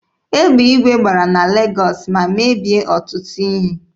Egbe igwe gbara na Legọọsị ma mebie ọtụtụ ihe.